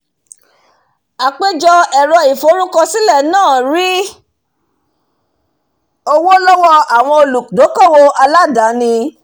àpéjọ ẹ̀rọ ìforúkọ sílẹ̀ náà rí owó lọ́wọ́ àwọn olùdókówò aládàáni